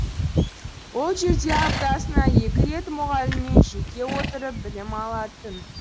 ол жерде аптасына екі рет мұғаліммен жеке отырып білім алатын